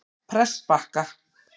Prestbakka